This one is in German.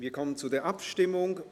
Wir kommen zur Abstimmung.